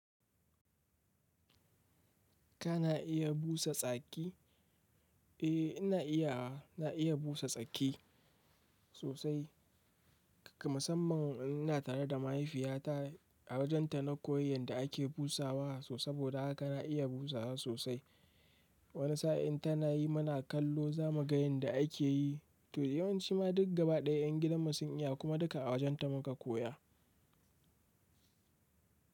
Kana iya busa tsaki? Eh ina iyawa, ina iya busa tsaki sosai. Musamman idan ina tare da mahaifiyata a wajenta na koyi yadda ake busawa. So saboda haka na iya busawa sosai. Wani sa'in tana yi muna kallo za mu ga yadda a ke yi. To yawanci ma duk gaba ɗaya ƴan gidan mu sun iya kuma duka a wajenta muka koya.